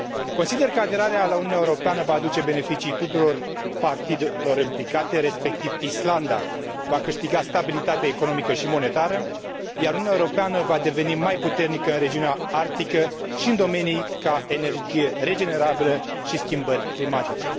Consider că aderarea la Uniunea Europeană va aduce beneficii tuturor părților implicate, respectiv Islanda va câștiga stabilitate economică și monetară, iar Uniunea Europeană va deveni mai puternică în regiunea arctică și în domenii ca energia regenerabilă și schimbările climatice.